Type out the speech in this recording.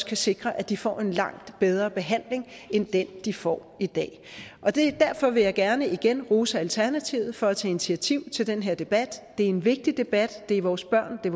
kan sikre at de får en langt bedre behandling end den de får i dag derfor vil jeg gerne igen rose alternativet for at tage initiativ til den her debat det er en vigtig debat det er vores børn det